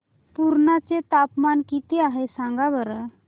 पुर्णा चे तापमान किती आहे सांगा बरं